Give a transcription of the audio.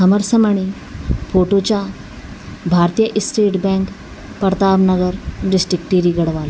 हमर समणी फोटो चा भारतीय state bank Pratap Nagar district Tehri गढ़वाल।